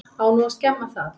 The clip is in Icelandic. Á nú að skemma það?